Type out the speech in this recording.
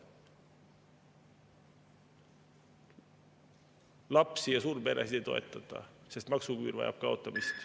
Lapsi ja suurperesid ei toetata, sest maksuküür vajab kaotamist.